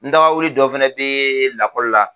N dagawuli dɔ fɛnɛ be lakɔli la